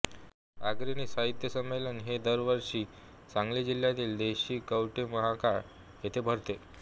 अग्रणी साहित्य संमेलन हे दरवर्षी सांगली जिल्ह्यातील देशिंगकवठेमहांकाळ येथे भरते